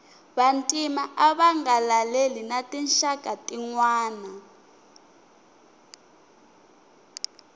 vantima ava nga laleli na tinxaka tinwana